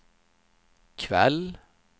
kväll